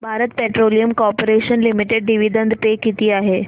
Bharat petroleum corporation limited dividend pay किती आहे